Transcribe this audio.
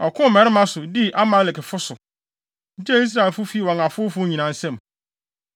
Ɔkoo mmarima so, dii Amalekfo so, gyee Israelfo fii wɔn afowfo nyinaa nsam.